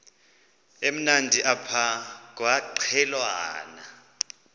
emnandi apha kwaqhelwana